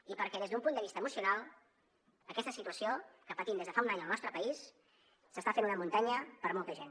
i perquè des d’un punt de vista emocional aquesta situació que patim des de fa un any al nostre país s’està fent una muntanya per a molta gent